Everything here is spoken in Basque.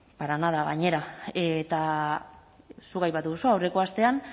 para nada gainera eta zuk aipatu duzu aurreko astean